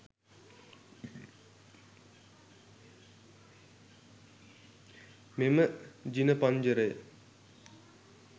මෙම ජිනපංජරය